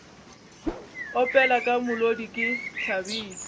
opela ka molodi ke thabile